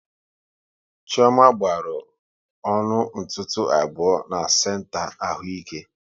Chioma gbaru ọnụ ntụtụ abụọ na senta ahụike